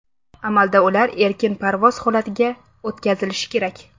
Amalda ular erkin parvoz holatiga o‘tkazilishi kerak.